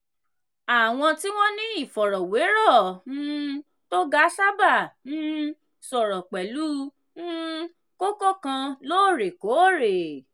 àwọn tí wọ́n ní ìfọ̀rọ̀wérọ̀ um tó ga sábà um sọ̀rọ̀ pẹ̀lú um kókó kan lóòrèkóòrè.